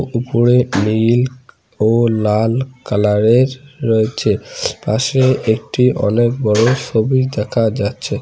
উপরে নীল ও লাল কালার -এর রয়েছে পাশে একটি অনেক বড় সবি দেখা যাচ্ছে।